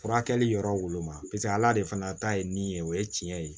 Furakɛli yɔrɔ woloma paseke ala de fana ta ye min ye o ye tiɲɛ ye